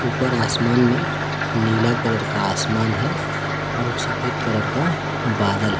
ऊपर आसमान में नीला कलर का आसमान है और सफेद कलर का बादल है।